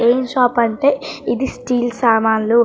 ఏం షాప్ అంటే ఇది స్టీల్ సామాన్లు.